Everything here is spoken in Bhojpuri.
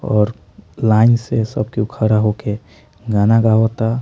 और लाइन से सब के खड़ा होके गाना गावता।